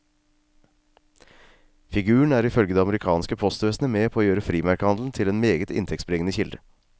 Figuren er ifølge det amerikanske postvesenet med på å gjøre frimerkehandelen til en meget inntektsbringende kilde.